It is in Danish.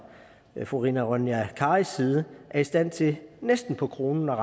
fru rina ronja karis side er i stand til næsten på kroner og